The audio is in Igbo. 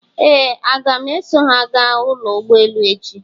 Ee, aga m eso ha gaa ụlọ ụgbọelu echi?